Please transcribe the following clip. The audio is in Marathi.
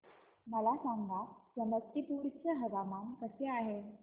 मला सांगा समस्तीपुर चे हवामान कसे आहे